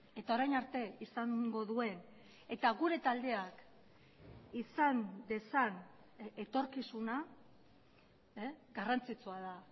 eta orain arte izango duen eta gure taldeak izan dezan etorkizuna garrantzitsua da